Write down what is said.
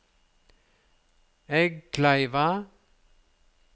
Eggkleiva